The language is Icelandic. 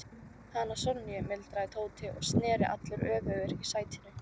Hana Sonju? muldraði Tóti og sneri allur öfugur í sætinu.